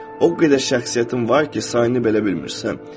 O qədər şəxsiyyətin var ki, sayını belə bilmirsən.